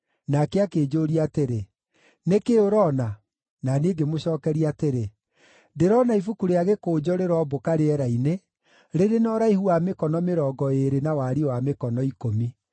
Nake akĩnjũũria atĩrĩ, “Nĩ kĩĩ ũroona?” Na niĩ ngĩmũcookeria atĩrĩ, “Ndĩrona ibuku-rĩa-gĩkũnjo rĩrombũka rĩera-inĩ, rĩrĩ na ũraihu wa mĩkono mĩrongo ĩĩrĩ na wariĩ wa mĩkono ikũmi .”